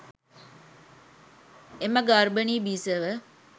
එම ගර්භනී බිසව